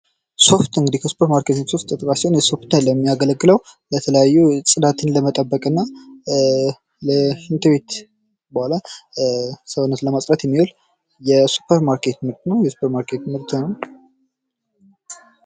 ሶፍት የሱፐር ማርኬት ምርት ሲሆን የሚያገለግለው የተለያዩ ጽዳትን ለመጠበቅ እና ሽንት ቤት በኋላ ሰውነትን ለማጽዳት የሚውል የሱፐር ማርኬት ምርት ነው።